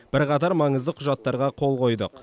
бірқатар маңызды құжаттарға қол қойдық